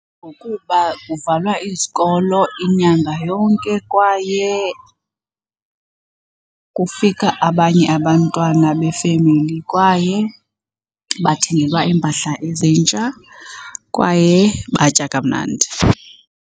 Ngokuba kuvalwa izikolo inyanga yonke kwaye kufika abanye abantwana befemeli, kwaye bathengelwa iimpahla ezintsha, kwaye batya kamnandi.